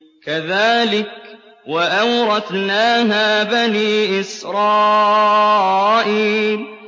كَذَٰلِكَ وَأَوْرَثْنَاهَا بَنِي إِسْرَائِيلَ